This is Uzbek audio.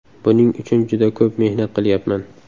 Buning uchun juda ko‘p mehnat qilyapman.